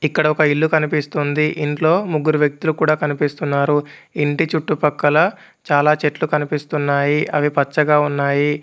ఇక్కడ ఒక ఇల్లు కనిపిస్తుంది ఇంట్లో ముగ్గురు వ్యక్తులు కూడా కనిపిస్తున్నారు ఇంటి చుట్టుపక్కల చాలా చెట్లు కనిపిస్తున్నాయి అవి పచ్చగా ఉన్నాయి.